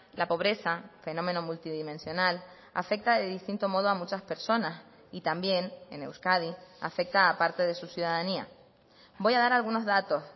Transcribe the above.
la pobreza fenómeno multidimensional afecta de distinto modo a muchas personas y también en euskadi afecta a parte de su ciudadanía voy a dar algunos datos